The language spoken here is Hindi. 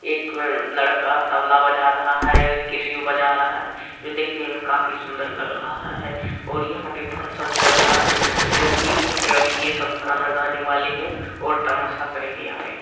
एक लड़का तबला बजा रहा है एक कसिओ बजा रहा है जो दिखने में काफी सुन्दर लग रहा है और यहाँ पे फंक्शन चल रहा है जो की यहाँ पे अभी ये सब गाना गाने वाले है और तमाशा करेंगे यहाँ पे।